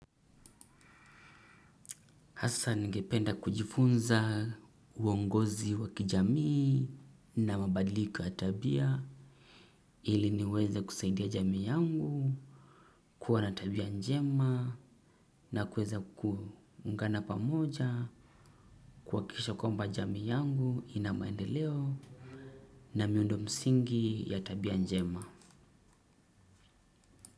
Asa ningependa kujifunza uongozi wa kijamii na mabadiliko ya tabia ili niweze kusaidia jamii yangu kuwa na tabia njema na kuweza kuungana pamoja kuhakikisha kwamba jamii yangu ina maendeleo na miundo msingi ya tabia njema.